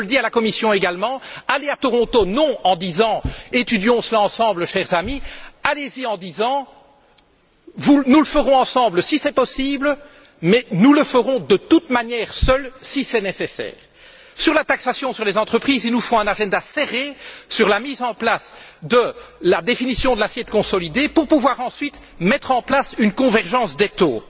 Je le dis à la Commission également Allez à Toronto, non pas en disant étudions cela ensemble chers amis, allez y en disant nous le ferons ensemble si c'est possible, mais nous le ferons de toute manière seuls si c'est nécessaire! Sur la taxation sur les entreprises, il nous faut un agenda serré pour la mise en place de la définition de l'assiette consolidée, afin de pouvoir, ensuite, mettre en place une convergence des taux.